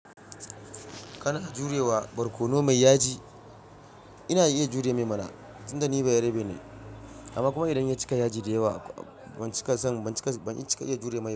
Kana jurewa barkono mai yaji? Ina iya jure mai mana. Tunda ni bayarabe ne, amma kuma idan ya cika yaji da yawa ban cika son, ban cika, ban iya cika jure mai ba.